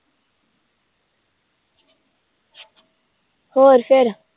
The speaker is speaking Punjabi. ਹੋਰ ਫਿਰ